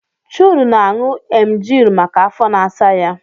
Chude na-aṅù emgili maka afọ na-asa ya